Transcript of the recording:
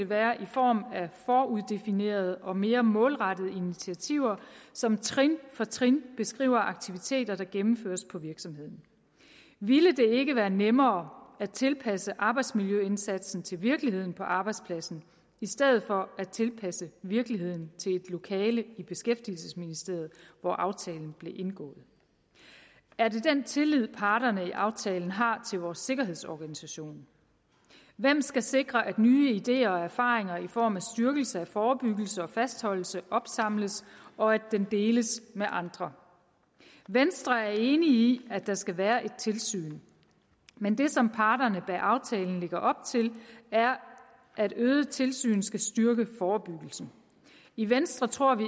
være i form af foruddefinerede og mere målrettede initiativer som trin for trin beskriver aktiviteter der gennemføres på virksomheden ville det ikke være nemmere at tilpasse arbejdsmiljøindsatsen til virkeligheden på arbejdspladsen i stedet for at tilpasse virkeligheden til et lokale i beskæftigelsesministeriet hvor aftalen blev indgået er det den tillid parterne i aftalen har til vores sikkerhedsorganisation hvem skal sikre at nye ideer og erfaringer i form af styrkelse af forebyggelse og fastholdelse opsamles og at den deles med andre venstre er enig i at der skal være et tilsyn men det som parterne bag aftalen lægger op til er at øget tilsyn skal styrke forebyggelsen i venstre tror vi